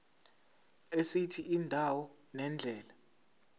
esithi indawo nendlela